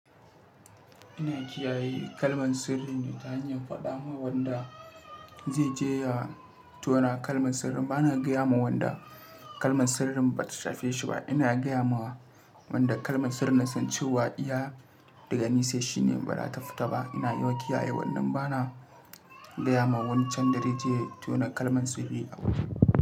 Ina kiyaye kalman sirri ne ta hanyar faɗa ma wanda zai je ya tona kalman sirrin. Bana gaya ma wanda kalman sirrin ba ta shafi shi ba. Ina gaya ma wanda kalman sirrin nasan cewa iya daga ni sai shi ne ba da ta fita ba. Ina yi kiyaye wannan bana gaya ma wani can da zai je ya tona kalman sirri a waje.